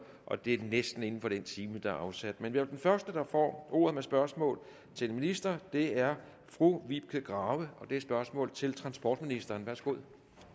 og det er næsten inden for den time der er afsat men den første der får ordet med spørgsmål til ministeren er fru vibeke grave og det spørgsmål til transportministeren værsgo